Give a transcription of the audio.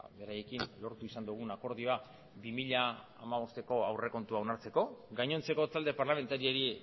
beraiekin lortu izan dugun akordioa bi mila hamabosteko aurrekontua onartzeko gainontzeko talde parlamentariei